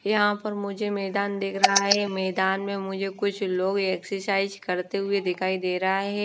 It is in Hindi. यहां पर मुझे मैदान दिख रहा है मैदान में मुझे कुछ लोग एक्सरसाइज करते हुए दिखाई दे रहा है।